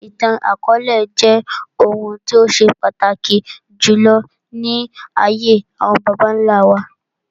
Ìtàn akọọlẹ jẹ́ ohun tó ṣe pàtàkì jùlọ ní ayé àwọn bàbá nlá wa